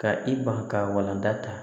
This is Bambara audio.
Ka i ban ka walanda ta